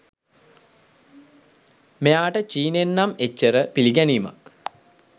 මෙයාට චීනෙන් නම් එච්චර පිළිගැනීමක්